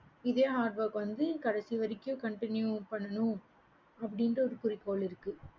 இதே hardwork கடைசி வரைக்கும் continue பண்ணனும் அப்படின்ட்டு ஒரு குறிக்கோள் இருக்கு